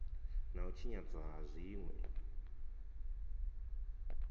na u tshinyadzwa ha zwinwe